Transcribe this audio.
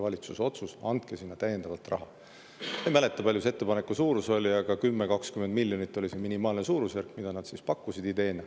Ma ei mäleta, kui palju selle ettepaneku suurus oli, aga 10–20 miljonit oli minimaalne suurusjärk, mida nad siis pakkusid ideena.